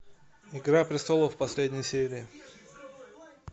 игра престолов последняя серия